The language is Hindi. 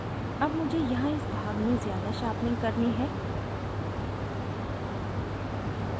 अब मुझे यहाँ इस भाग में ज़्यादा sharpening करनी है